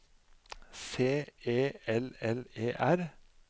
C E L L E R